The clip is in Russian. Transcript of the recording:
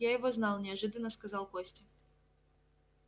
я его знал неожиданно сказал костя